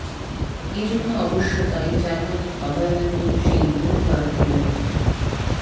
এ জন্য অবশ্য দায়ী জার্মানির অভয়ারণ্যের সেই উইংবার্ড প্রজাপতিটি